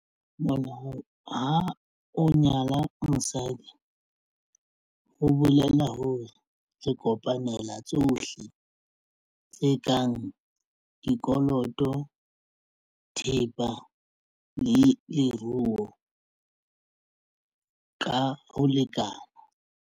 Mona ha o nyala mosadi ho bolela hore re kopanela tsohle tse kang dikoloto thepa le leruo ka ho lekana.